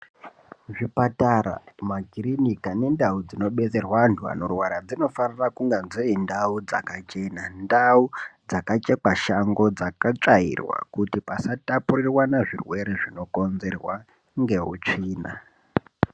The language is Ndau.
Zvipatara makiriniki nendau dzinodetserwa antu anorwara dzinofanira kuva dziri ndau dzakachekwa Shango dzakatsvairwa kuti pasatapurirwana zvirwere zvinokonzerwa neutsvina.